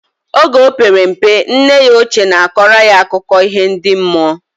Oge opere mpe, nne ya oche na akora ya akụko iho ndi mmụọ